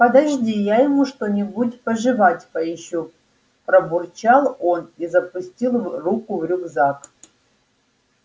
подожди я ему что-нибудь пожевать поищу пробурчал он и запустил руку в рюкзак